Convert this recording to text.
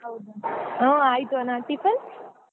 ಹೌದು ಅಣ್ಣ ಹಾ ಆಯ್ತು ಅಣ್ಣಾ tiffin ?